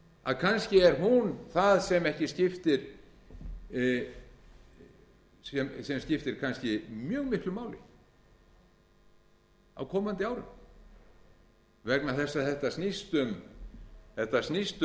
að kannski er hún það sem skiptir kannski mjög miklu máli á komandi árum vegna þess að þetta snýst